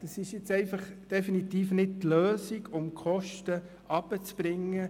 Das ist nun einfach definitiv nicht die Lösung, um die Kosten herunterzubringen.